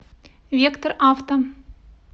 вектор авто